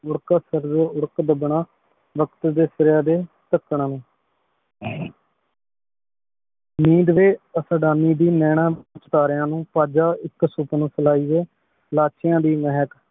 ਉਰਕ ਦਬਨਾ ਵਕ਼ਤ ਦੇ ਸਿਰੀਆਂ ਤੇ ਤਕਨਾ ਨੀਂਦ ਵੀ ਅਸਾਦਾਨੀ ਦੀ ਨੈਨਾ ਸਿਤਾਰਿਆਂ ਨੂ ਏਇਕ ਸੁਪਨੋ ਪਿਲਾਈ ਹੈ ਲਾਚ੍ਯਾਂ ਦੀ ਮੇਹਕ